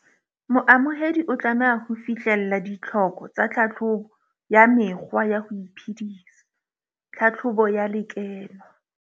Moamohedi o tlameha ho fihlella ditlhoko tsa tlhahlobo ya mekgwa ya ho iphedisa tlhahlobo ya lekeno.